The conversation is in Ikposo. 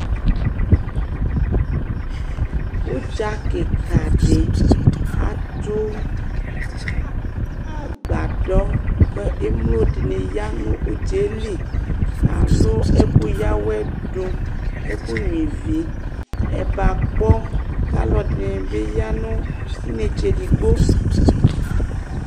ũdza kïka di atũ a agbadɔ kë émlo diniya nũ udza li alũ ɛku yawɛ dũ eku gnuivi ɛbakpɔ kalũ edini bi ya nɔ inétsé digbo